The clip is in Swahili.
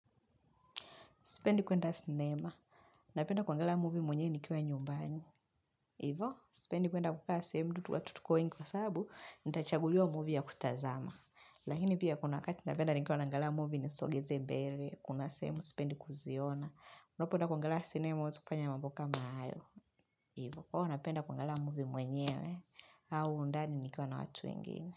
Sipendi kwenda sinema, napenda kuangalia movie mwenyewe nikwa nyumbani. Hivo, sipendi kwenda kukaa sehemu mtu watu tuko wengi wa sababu, nitachaguliwa movie ya kutazama. Lakini pia kuna wakati napenda nikiwa naangalia movie nisongeze mbele, kuna sehemu sipendi kuziona. Unapoenda kuangalia sinema huwezi kufanya mambo kama hayo. Hivo, napenda kuangalia movie mwenyewe au ndani nikiwa na watu wengine.